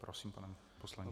Prosím, pane poslanče.